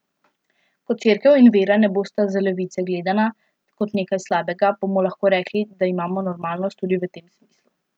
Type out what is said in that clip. Ko Cerkev in vera ne bosta z levice gledana kot nekaj slabega, bomo lahko rekli, da imamo normalnost tudi v tem smislu.